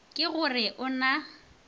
ke go re o na